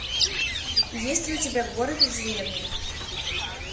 есть ли у тебя город и деревня